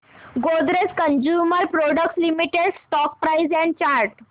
Godrej consumer products limited stock price and chart